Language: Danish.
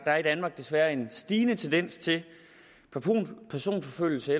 er i danmark desværre en stigende tendens til personforfølgelse